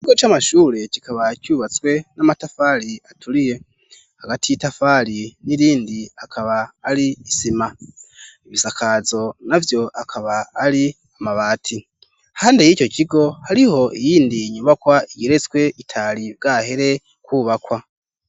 Ikigo c'amashure kikaba cubatswe n'amatafari aturiye hagati y'itafari n'irindi hakaba hari isima. Ibisakazo na vyo akaba ari amabati hande y'ico kigo hariho iyindi nyubakwa igeretswe itari bwahere kubakwa.